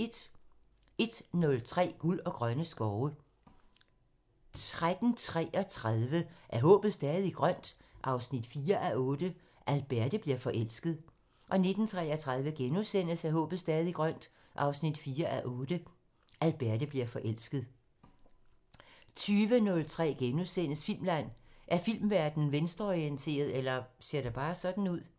10:03: Guld og grønne skove 13:33: Er håbet stadig grønt? 4:8 – Alberte bliver forelsket 19:33: Er håbet stadig grønt? 4:8 – Alberte bliver forelsket * 20:03: Filmland: Er filmverdenen venstreorienteret – eller ser det bare sådan ud? *